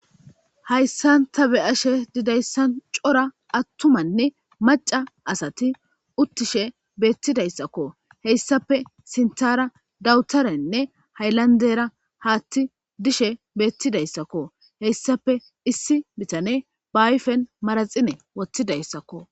Hayssanta be ashe didayssan cora attumanne maca asati uttishe beettidayssakko heyssape sintara dawutarenne hayllandera haatti dishe beettidayssakko heyssape issi bitane baayfen maraxine wothidayssakko.